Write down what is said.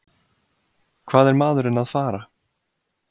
Hvað er maðurinn að fara?